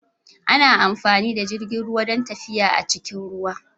Ana amfani da jirgin ruwa don tafiya a cikin ruwa.